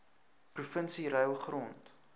provinsie ruil grond